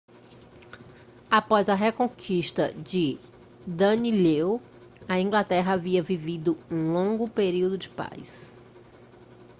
após a reconquista de danelaw a inglaterra havia vivido um longo período de paz